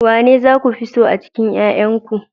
Wanene za ku fi so a cikin 'ƴa'ƴanku